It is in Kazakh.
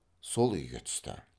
сол үйге түсті